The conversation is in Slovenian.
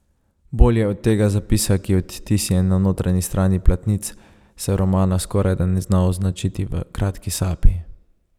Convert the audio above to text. Bolje od tega zapisa, ki je odtisnjen na notranji strani platnic, se romana skorajda ne da označiti v kratki sapi.